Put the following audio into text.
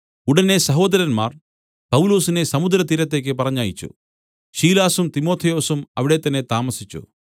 ഉടനെ സഹോദരന്മാർ പൗലൊസിനെ സമുദ്രതീരത്തേക്ക് പറഞ്ഞയച്ചു ശീലാസും തിമൊഥെയോസും അവിടെത്തന്നെ താമസിച്ചു